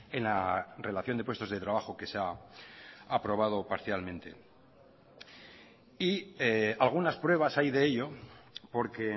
en la relación de puestos de trabajo que se ha aprobado parcialmente y algunas pruebas hay de ello porque